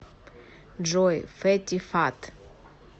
джой фэтти фат